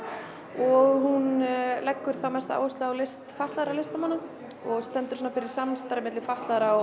og hún leggur mesta áherslu á list fatlaðra listamanna og stendur fyrir samstarfi milli fatlaðra og